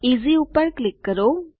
easy પર click કરો